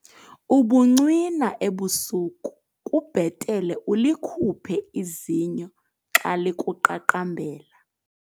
Ubuncwina ebusuku kubhetele ulikhuphe izinyo xa likuqaqambela.